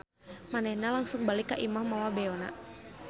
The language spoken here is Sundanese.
Manehna langsung balik ka imah mawa beona.